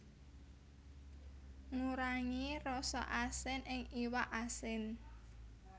Ngurangi rasa asin ing iwak asin